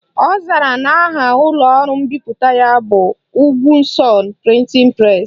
Ọ zara na aha ụlọọrụ mbipụta ya bụ Ugwuson Printing Press